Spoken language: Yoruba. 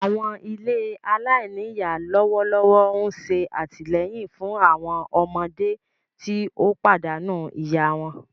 Àwọn ilé alainíyá lọwọlọwọ n ṣe àtìleyìn fun àwọn ọmọdé ti o pàdánù ìyá wọn.